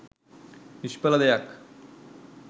නිශ්ඵල දෙයක්.